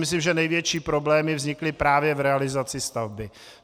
Myslím, že největší problémy vznikly právě v realizaci stavby.